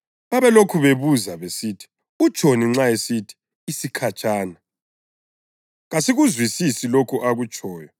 Babelokhu bebuza besithi, “Utshoni nxa esithi ‘isikhatshana’? Kasikuzwisisi lokho akutshoyo.”